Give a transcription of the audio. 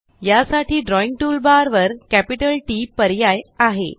यासाठी drawing toolbar वर capital TT पर्याय आहे